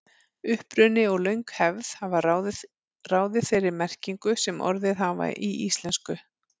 Uppruni og löng hefð hafa ráðið þeirri merkingu sem orðin hafa í íslensku.